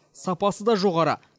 сапасы да жоғары